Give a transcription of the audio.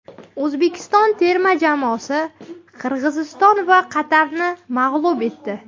O‘zbekiston terma jamoasi Qirg‘iziston va Qatarni mag‘lub etdi.